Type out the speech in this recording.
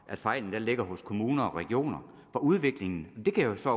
at fejlen ligger hos kommuner og regioner for udviklingen det kan jeg så